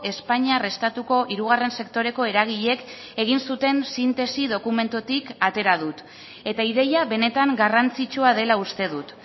espainiar estatuko hirugarren sektoreko eragileek egin zuten sintesi dokumentutik atera dut eta ideia benetan garrantzitsua dela uste dut